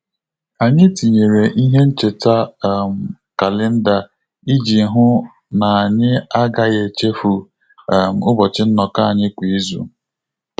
Anyị tinyere ihe ncheta um kalenda iji hụ na-anyi agaghị echefu um ụbọchị nnoko anyị kwa izu